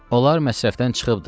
Onlar məsrifdən çıxıbdır.